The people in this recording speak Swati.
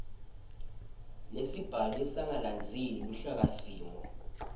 lesibhalwe sangalandzeli luhlakasimo